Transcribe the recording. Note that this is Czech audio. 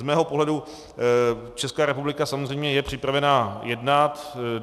Z mého pohledu Česká republika samozřejmě je připravena jednat.